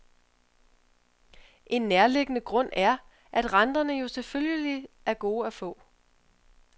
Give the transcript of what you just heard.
En nærliggende grund er, at renterne jo selvfølgelig er gode at få.